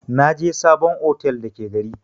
Naje sabon otel da ke gari.